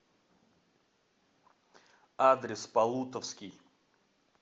адрес полутовский